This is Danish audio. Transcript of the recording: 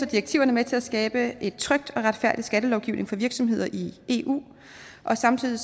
direktiverne med til at skabe en tryg og retfærdig skattelovgivning for virksomheder i eu og samtidig